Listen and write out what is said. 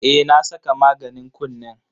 Eh na saka maganin kunnen.